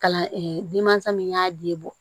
Kalan denmansa min y'a den bɔ